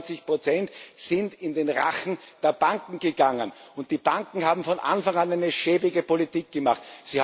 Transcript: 95 Prozent sind in den Rachen der Banken gegangen, und die Banken haben von Anfang an eine schäbige Politik gemacht.